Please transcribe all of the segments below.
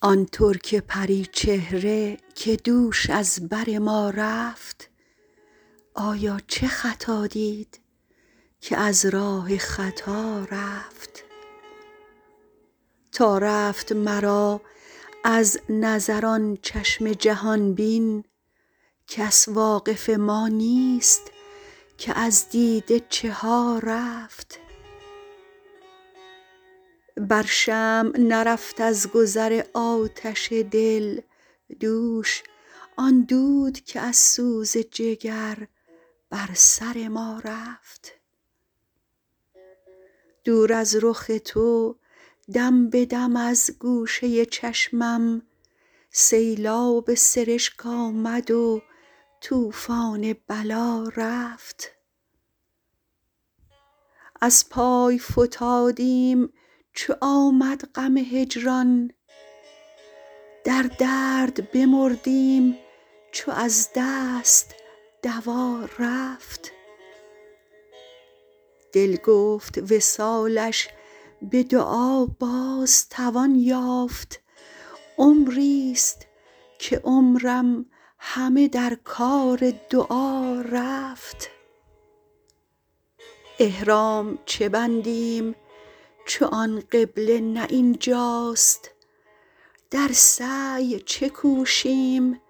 آن ترک پری چهره که دوش از بر ما رفت آیا چه خطا دید که از راه خطا رفت تا رفت مرا از نظر آن چشم جهان بین کس واقف ما نیست که از دیده چه ها رفت بر شمع نرفت از گذر آتش دل دوش آن دود که از سوز جگر بر سر ما رفت دور از رخ تو دم به دم از گوشه چشمم سیلاب سرشک آمد و طوفان بلا رفت از پای فتادیم چو آمد غم هجران در درد بمردیم چو از دست دوا رفت دل گفت وصالش به دعا باز توان یافت عمریست که عمرم همه در کار دعا رفت احرام چه بندیم چو آن قبله نه این جاست در سعی چه کوشیم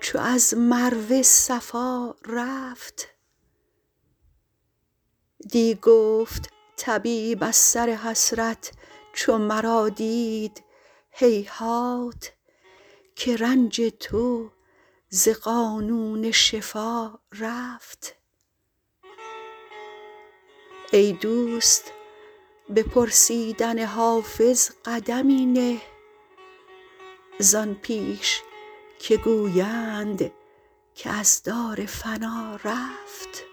چو از مروه صفا رفت دی گفت طبیب از سر حسرت چو مرا دید هیهات که رنج تو ز قانون شفا رفت ای دوست به پرسیدن حافظ قدمی نه زان پیش که گویند که از دار فنا رفت